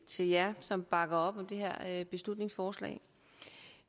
til jer som bakker op om det her beslutningsforslag